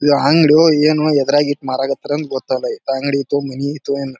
ಇದ್ ಅಂಗಡಿಯೊ ಏನೋ ಎದ್ರಾಗ ಇಟ್ ಮರಕ್ ಹತ್ತರ ಏನ್ ಗೊತ್ತಿಲ್ಲ ಅಂಗ್ಡಿ ಐತೊ ಮನಿ ಐತೊ ಯೆನ್.